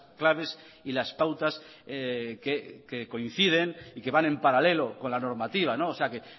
claves y las pautas que coinciden y que van en paralelo con la normativa o sea que